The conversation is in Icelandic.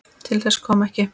Til þess kom ekki.